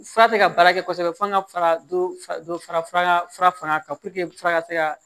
Fura tɛ ka baara kɛ kosɛbɛ fo an ka fara dɔ fara kan puruke fura ka se ka